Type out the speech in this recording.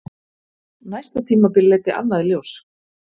Næsta tímabil leiddi annað í ljós.